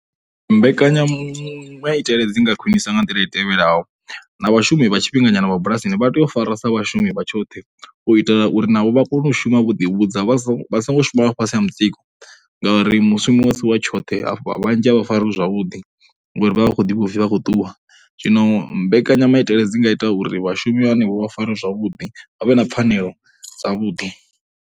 Mbekanyamitele dzi nga khwinisa nga nḓila dzi tevhelaho na vhashumi vha tshifhinganyana vha bulasini vha tea u fariwa sa vhashumi vha tshoṱhe u itela uri navho vha kone u shuma vho ḓivhudza vha songo shuma vha fhasi ha mutsiko ngauri mushumo u si wa tshoṱhe afha, vhanzhi a vha fariwi zwavhuḓi ngauri vha vha vha khou ḓiwiwa uri vha khou ṱuwa. Zwino mbekanyamaitele dzi nga ita uri vhashumi henefho vha farwe zwavhuḓi, vha vhe na pfhanelo dzavhuḓi.